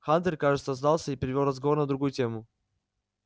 хантер кажется сдался и перевёл разговор на другую тему